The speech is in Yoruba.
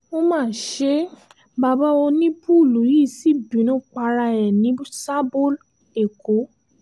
ó má ṣe bàbá onípùùlù yìí sí bínú para ẹ̀ ní sáàbọ̀ èkó